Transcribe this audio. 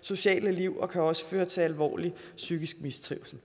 sociale liv og kan også føre til alvorlig psykisk mistrivsel